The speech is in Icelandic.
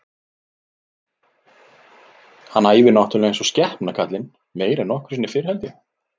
Hann æfir náttúrulega eins og skepna kallinn, meira en nokkru sinni fyrr held ég.